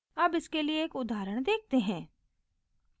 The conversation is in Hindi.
अब इसके लिए एक उदाहरण देखते हैं